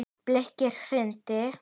Birkir hlýddi.